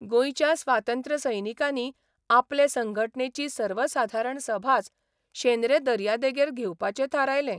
गोंयच्या स्वातंत्र्य सैनिकांनी आपले संघटनेची सर्वसाधारण सभाच शेंद्रे दर्या देगेर घेवपाचें थारायलें.